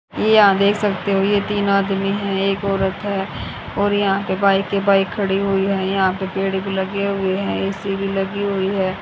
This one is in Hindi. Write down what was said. ये यहां देख सकते हो ये तीन आदमी एक औरत हैं और यहां पे बाइक ही बाइक खड़ी हुई है यहां पे पेड़ भी लगे हुए हैं ए_सी भी लगी हुई हैं।